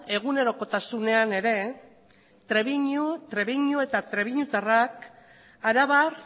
egunerokotasunean ere trebiñu eta trebiñutarrak arabar